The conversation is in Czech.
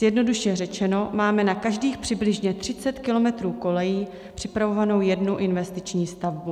Zjednodušeně řečeno máme na každých přibližně 30 kilometrů kolejí připravovanou jednu investiční stavbu.